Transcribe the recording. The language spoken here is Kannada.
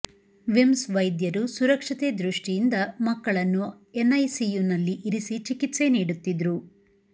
ವಿಮ್ಸ್ ವೈದ್ಯರು ಸುರಕ್ಷತೆ ದೃಷ್ಟಿಯಿಂದ ಮಕ್ಕಳನ್ನು ಎನ್ಐಸಿಯುನಲ್ಲಿ ಇರಿಸಿ ಚಿಕಿತ್ಸೆ ನೀಡುತ್ತಿದ್ರು